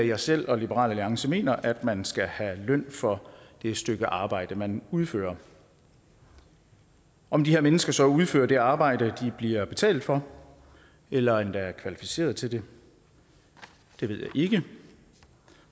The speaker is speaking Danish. jeg selv og liberal alliance mener at man skal have løn for det stykke arbejde man udfører om de her mennesker så udfører det arbejde de bliver betalt for eller endog er kvalificeret til det ved jeg ikke